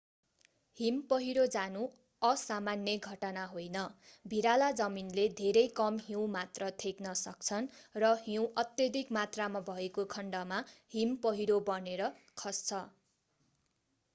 हिम पहिरो जानु असामान्य घटना होइन भिराला जमिनले धेरै कम हिउँ मात्र थेग्न सक्छन् र हिउँ अत्यधिक मात्रामा भएको खण्डमा हिम पहिरो बनेर खस्छ